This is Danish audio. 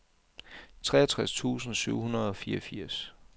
treogtres tusind syv hundrede og fireogfirs